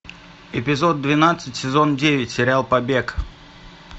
эпизод двенадцать сезон девять сериал побег